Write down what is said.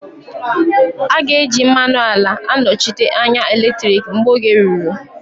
A ga-eji mmanụ ala anọchite anya eletriki mgbe oge ruru